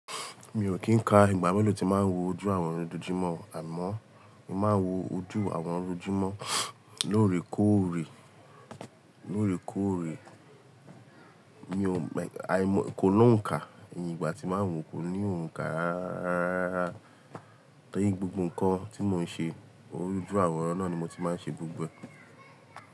Mi ò kí ń ka ìgbà mélòó tí màá wo ojú àworan loojojumọ̀, àmọ́ mo máa wo ojú àworan loojojumọ̀ lóòrèkóòrè, lóòrèkóòrè. Mi ò mọ̀, àìmọ́ kò lọ́ ǹ kà. Ìgbà tí màá wò kò ní òǹkà rárá. Torí gbogbo ǹkan tí mò ń ṣe, ojú àwòrán náà ni mo ti máa ń ṣe gbogbo ẹ́.